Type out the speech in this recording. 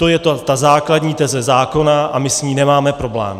To je ta základní teze zákona a my s ní nemáme problém.